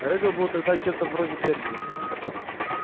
реддл был тогда чем-то вроде перси